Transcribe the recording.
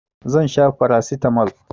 Zan sha farasitamol.